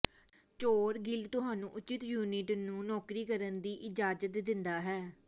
ਚੋਰ ਗਿਲਡ ਤੁਹਾਨੂੰ ਉਚਿਤ ਯੂਨਿਟ ਨੂੰ ਨੌਕਰੀ ਕਰਨ ਦੀ ਇਜਾਜ਼ਤ ਦਿੰਦਾ ਹੈ